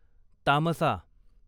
तामसा